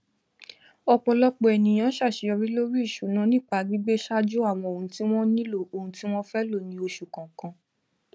ọpọlọpọ ènìyàn ṣàṣeyọrí lórí ìṣúná nípa gbígbéṣájú àwọn ohun tí wón nílò ohun tí wọn fẹ lọ ni oṣu kọọkan